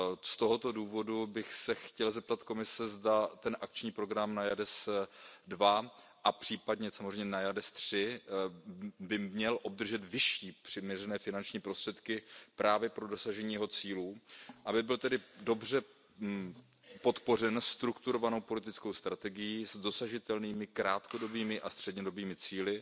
Z tohoto důvodu bych se chtěl zeptat Komise, zda by akční program NAIADES II, a případně samozřejmě NAIADES III, neměl obdržet vyšší přiměřené finanční prostředky právě pro dosažení jeho cílů, aby byl tedy dobře podpořen strukturovanou politickou strategií s dosažitelnými krátkodobými a střednědobými cíli